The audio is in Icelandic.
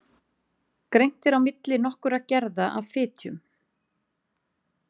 Greint er á milli nokkurra gerða af fitjum.